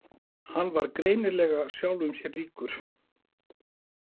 Hann var greinilega sjálfum sér líkur.